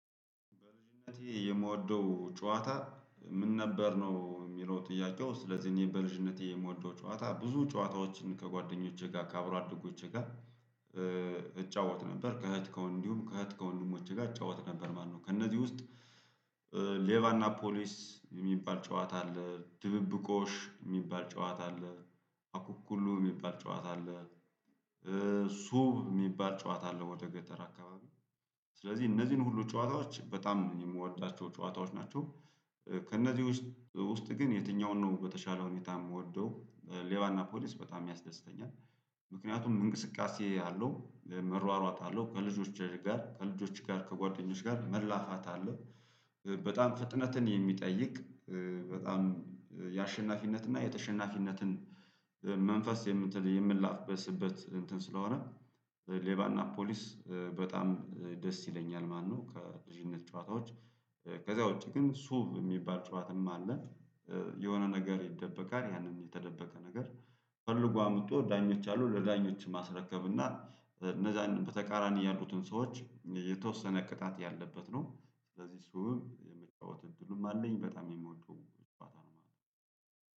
በልጅነቴ የምወደው ጨዋታ ምን ነበር ነው የሚለው ጥያቄው? ስለዚህ እኔ በልጅነቴ የምወደው ጨዋታ ብዙ ጨዋታዎችን ከጓደኞቼ ጋር ከአብሮ አደጎቼ ጋር እጫወት ነበር። ከእህት ከወ እንዲሁም ከእህት ከወንድሞቼ ጋር እጫወት ነበር። ማነው ከእነዚህ ውስጥ? ሌባና ፖሊስ የሚባል ጨዋታ አለ ድብብቆሽ የሚባል ጨዋታ አለ። አኩኩሉ የሚባል ጨዋታ አለ። ሱብ የሚባል ጨዋታ አለው ወደ ገጠር አካባቢ። ስለዚህ እነዚህን ሁሉ ጨዋታዎች በጣም የምወዳቸው ጨዋታዎች ናቸው። ከእነዚህ ውስጥ ግን የትኛውን ነው በተሻለ ሁኔታ የምወደው? ሌባና ፖሊስ በጣም ያስደስተኛል። ምክንያቱም እንቅስቃሴ አለው መሯሯጥ አለው ከልጆች ጋር ከልጆች ጋር ከጓደኞችህ ጋር መላፋት አለው። በጣም ፍጥነትን የሚጠይቅ በጣም የአሸናፊነት እና የተሸናፊነትን መንፈስ የምንላበስበት እንትን ስለሆነ። ሌባና ፖሊስ በጣም ደስ ይለኛል ማለት ነው። ከልጅነት ጨዋታዎች ከዛ ውጪ ግን ሱብ የሚባል ጨዋታም አለ። የሆነ ነገር ይደበቃል ያንን የተደበቀ ነገር ፈልጎ አምጥቶ ዳኞች አሉ ለዳኞችም ማስረከብና እነዛንም በተቃራኒ ያሉትን ሰዎች የተወሰነ ቅጣት ያለበት ነው። ስለዚህ ሱብም የመጫወት እድሉም አለኝ በጣም የምወደውም ጨዋታ ነው ማለት ነው።